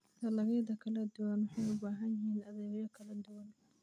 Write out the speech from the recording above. Dalagyada kala duwan waxay u baahan yihiin adeegyo kala duwan.